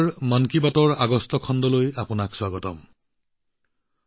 মন কী বাতৰ আগষ্ট মাহৰ খণ্ডলৈ আপোনালোকক পুনৰবাৰ আদৰণী জনাইছো